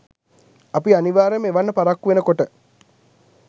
අපි අනිවාර්යයෙන්ම එවන්න පරක්කු වෙනකොට